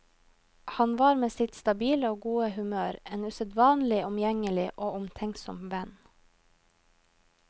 Han var med sitt stabile og gode humør en usedvanlig omgjengelig og omtenksom venn.